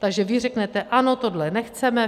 Takže vy řeknete ano, tohle nechceme.